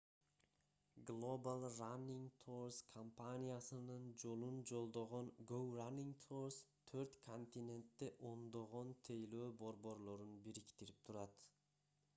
global running tours компаниясынын жолун жолдогон go running tours төрт континентте ондогон тейлөө борборлорун бириктирип турат